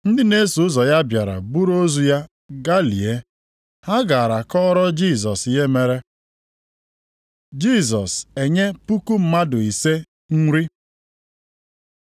Ndị na-eso ụzọ ya bịara buru ozu ya gaa lie. Ha gara kọọrọ Jisọs ihe mere. Jisọs enye puku mmadụ ise nri